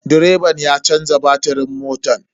Direban ya canza batirin motan.